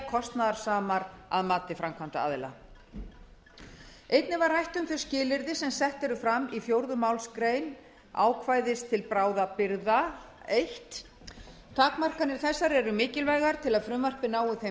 kostnaðarsamar að mati framkvæmdaaðila einnig var rætt um þau skilyrði sem sett eru fram í fjórðu málsgrein ákvæðið til bráðabirgða fyrsta takmarkanir þessar eru mikilvægar til að frumvarpið nái þeim